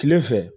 Kile fɛ